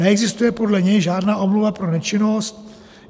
Neexistuje podle něj žádná omluva pro nečinnost.